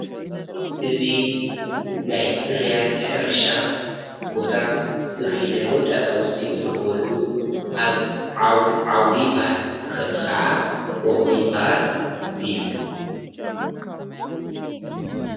እዙ ናይ ትርያት ሕርሻ ቦታ እኽሊ ናይ ሞዳታ ውፂት ዝርክወሉ ኣዓውዲ ይበሃል ። ክኸብቲ ኸዓ ቦሆይባሃል እዩ።